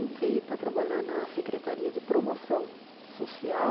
Entrei para trabalhar na Secretaria de Promoção Social,